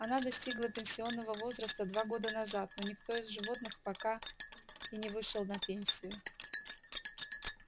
она достигла пенсионного возраста два года назад но никто из животных пока и не вышел на пенсию